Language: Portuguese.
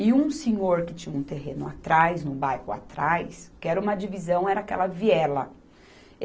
E um senhor que tinha um terreno atrás, num bairro atrás, que era uma divisão, era aquela viela.